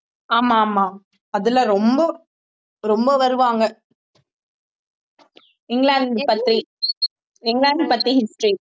ஆமா ஆமா அதுல ரொம்ப ரொம்ப வருவாங்க இங்கிலாந்து பத்தி இங்கிலாந்து பத்தி history